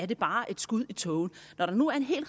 det bare er et skud i tågen når der nu er en hel